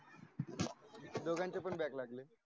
दोघांचे पण